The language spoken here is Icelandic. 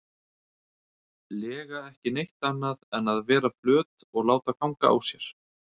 lega ekki neitt annað en að vera flöt og láta ganga á sér.